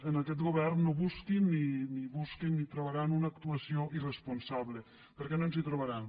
en aquest govern no busquin ni busquin ni trobaran una actua·ció irresponsable perquè no ens hi trobaran